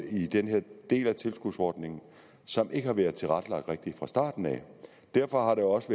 i den her del af tilskudsordningen som ikke har været tilrettelagt rigtigt fra starten derfor har det også